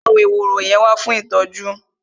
Gbé àwọn ehoro yẹn wá fún ìtọ́jú!